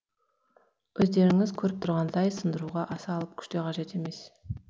өздеріңіз көріп тұрғандай сындыруға аса алып күш те қажет емес